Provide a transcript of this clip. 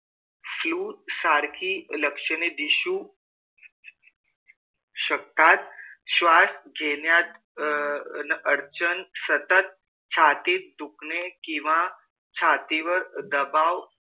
Flue सारखी लक्षणे दिसू शकतात. श्वास घेण्यात अह अन अडचण, सतत छातीत दुखणे किंवा छातीवर दबाव,